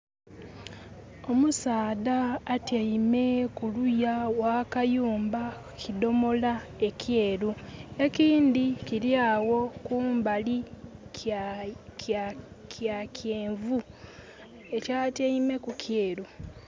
Omusaadha atyeime kuluya gha kayumba ku kidhomola ekyeru. Ekindhi kiriagho kumbali kya kyenvu. Kya tyeime ku kyeru.